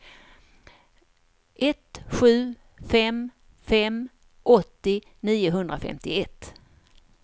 ett sju fem fem åttio niohundrafemtioett